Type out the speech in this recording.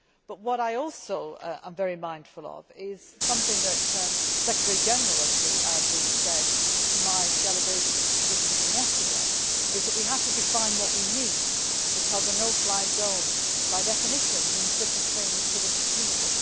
But what I am also very mindful of is something that the Secretary General of the Arab League said to my delegation visiting him yesterday we have to define what we need, because a no fly zone by definition means different things to different people.